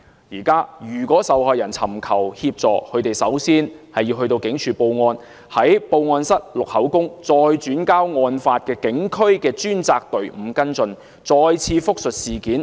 現時如果受害人尋求協助，首先要到警署報案，在報案室錄口供，再轉交案發警區的專責隊伍跟進，要複述事件。